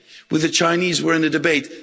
With the Chinese we are in a debate.